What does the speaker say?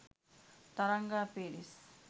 Tharanga Peiris